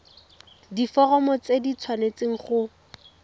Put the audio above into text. diforomo tse di tshwanesteng go